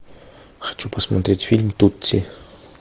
хочу посмотреть фильм тутси